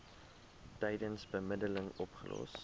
tydens bemiddeling opgelos